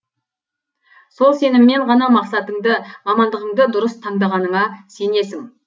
сол сеніммен ғана мақсатыңды мамандығыңды дұрыс таңдағанына сенесің